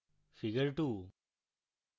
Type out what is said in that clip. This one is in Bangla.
figure 2